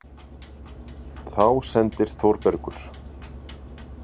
Þá sendir Þórbergur